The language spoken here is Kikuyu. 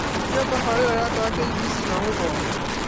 ĩkĩra tabarĩra yakwa ya K.B.C na ũthomere